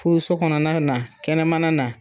Fuuso kɔnɔna na kɛnɛmana na